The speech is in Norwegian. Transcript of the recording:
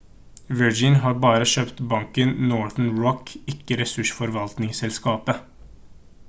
virgin har bare kjøpt banken northern rock ikke ressursforvaltningsselskapet